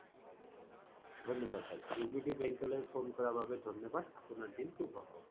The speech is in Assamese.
ধন্যবাদ sir bank লৈ phone কৰা বাবে ধন্যবাদ আপোনাৰ দিন শুভ হওঁক